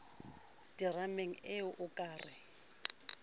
terameng ee o ka re